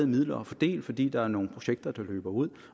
midler at fordele fordi der er nogle projekter der løber ud